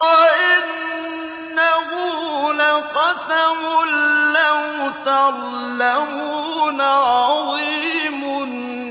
وَإِنَّهُ لَقَسَمٌ لَّوْ تَعْلَمُونَ عَظِيمٌ